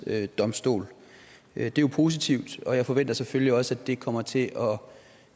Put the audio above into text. det er jo positivt og jeg forventer selvfølgelig også at det kommer til